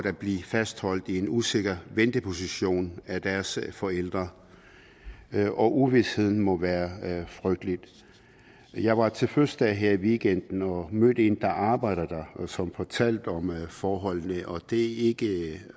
at blive fastholdt i en usikker venteposition af deres forældre og uvisheden må være frygtelig jeg var til fødselsdag her i weekenden og mødte en der arbejder der som fortalte om forholdene og det var ikke